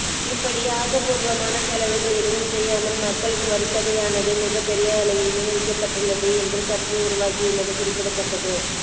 இப்படி ஆக்கப்பூர்வமான செலவுகள் எதுவும் செய்யாமல் மக்களின் வரித்தொகையானது மிகப் பெரிய அளவில் வீணடிக்கப்பட்டுள்ளது என்று சர்ச்சை உருவாகியுள்ளது குறிப்பிடத்தக்கது